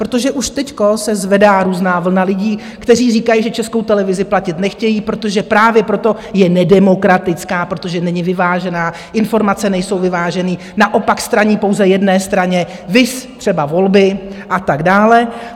Protože už teď se zvedá různá vlna lidí, kteří říkají, že Českou televizi platit nechtějí, protože právě proto je nedemokratická, protože není vyvážená, informace nejsou vyvážené, naopak straní pouze jedné straně, viz třeba volby a tak dále.